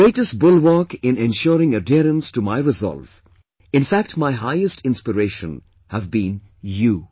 The greatest bulwark in ensuring adherence to my resolve; in fact my highest inspiration, have been you